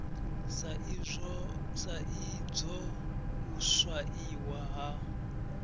sa idzwo u swaiwa ha